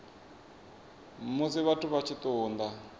musi vha tshi ṱun ḓa